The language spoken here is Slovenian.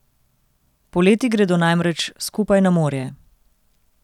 Poleti gredo namreč skupaj na morje.